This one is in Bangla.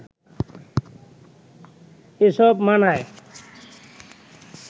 এসব মানায়